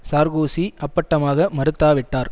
Sarkozy அப்பட்டமாக மறுத்தாவிட்டார்